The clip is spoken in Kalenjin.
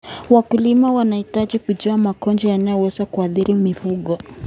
Wakulima wanahitaji kujua magonjwa yanayoweza kuathiri mifugo.